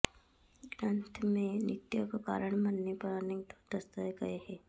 ग्रन्थ में नित्य को कारण मानने पर अनेक दोष दर्शाए गये हैं